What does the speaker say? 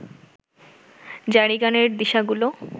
জারিগানের দিশাগুলো